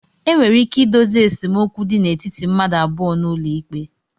Enwere ike ịdozi esemokwu dị n'etiti mmadụ abụọ n'ụlọ ikpe